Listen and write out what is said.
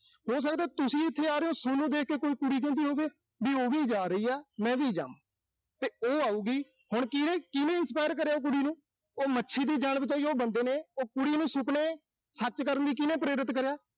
ਹੋ ਸਕਦਾ ਤੁਸੀਂ ਇਥੇ ਆ ਰਹੇ ਓਂ, ਸੋਨੂੰ ਦੇਖ ਕੇ ਕੋਈ ਕੁੜੀ ਕਹਿੰਦਾ ਹੋਵੇ ਵੀ ਉਹ ਵੀ ਜਾ ਰਹੇ ਨੇ, ਮੈਂ ਵੀ ਜਾਵਾਂ। ਤੇ ਉਹ ਆਊਗੀ। ਹੁਣ ਕੀਹਨੇ, ਕੀਹਨੇ inspire ਕਰਿਆ ਉਸ ਕੁੜੀ ਨੂੰ।